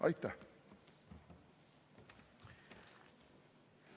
" Aitäh!